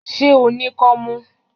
Ṣé o ní kọ́mú?